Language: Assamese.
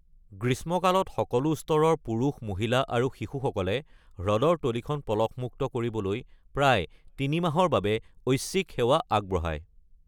গ্ৰীষ্মকালত, সকলো স্তৰৰ পুৰুষ, মহিলা আৰু শিশুসকলে হ্ৰদৰ তলিখন পলসমুক্ত কৰিবলৈ প্ৰায় তিনিমাহৰ বাবে ঐচ্ছিক সেৱা আগবঢ়ায়।